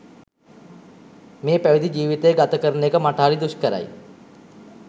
මේ පැවිදි ජීවිතය ගත කරන එක මට හරි දුෂ්කරයි